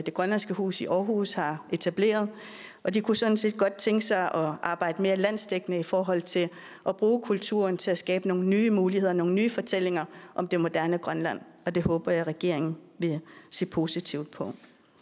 grønlandsk hus i aarhus har etableret og de kunne sådan set godt tænke sig at arbejde mere landsdækkende i forhold til at bruge kulturen til at skabe nogle nye muligheder nogle nye fortællinger om det moderne grønland og det håber jeg at regeringen vil se positivt på